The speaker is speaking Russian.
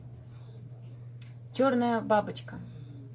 черная бабочка